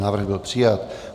Návrh byl přijat.